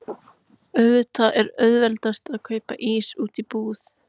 Auðvitað er auðveldast að kaupa ísinn úti í búð.